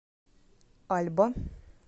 альба